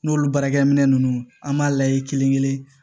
N'olu baarakɛminɛn ninnu an b'a layɛ kelen kelen